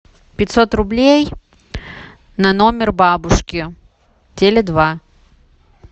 пятьсот рублей на номер бабушки теле два